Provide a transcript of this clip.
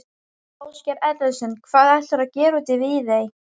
Ásgeir Erlendsson: Hvað ætlarðu að gera úti í Viðey?